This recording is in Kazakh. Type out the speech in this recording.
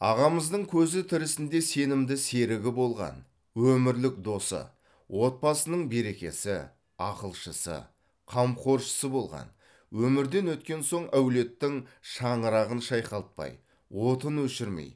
ағамыздың көзі тірісінде сенімді серігі болған өмірлік досы отбасының берекесі ақылшысы қамқоршысы болған өмірден өткен соң әулеттің шаңырағын шайқалтпай отын өшірмей